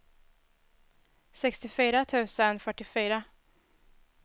sextiofyra tusen fyrtiofyra